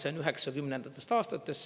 See on 90ndatest aastatest.